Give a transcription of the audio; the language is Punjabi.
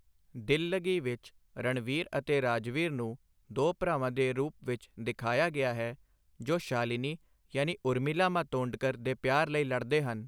ਦਿੱਲਗੀ ਵਿੱਚ ਰਣਵੀਰ ਅਤੇ ਰਾਜਵੀਰ ਨੂੰ ਦੋ ਭਰਾਵਾਂ ਦੇ ਰੂਪ ਵਿੱਚ ਦਿਖਾਇਆ ਗਿਆ ਹੈ, ਜੋ ਸ਼ਾਲਿਨੀ ਯਾਨੀ ਉਰਮਿਲਾ ਮਾਤੋਂਡਕਰ ਦੇ ਪਿਆਰ ਲਈ ਲੜਦੇ ਹਨ।